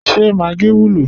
Ṣé Maggi wùlọ?